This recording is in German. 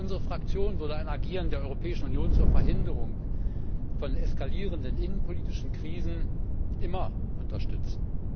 Unsere Fraktion würde ein Agieren der Europäischen Union zur Verhinderung von eskalierenden innenpolitischen Krisen immer unterstützen.